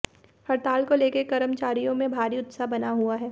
हड़ताल को लेकर कर्मचारियों में भारी उत्साह बना हुआ है